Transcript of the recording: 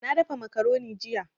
Na dafa macaroni jiya